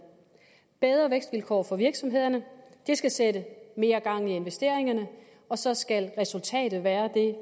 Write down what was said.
bedre vækstvilkår for virksomhederne skal sætte mere gang i investeringerne og så skal resultatet være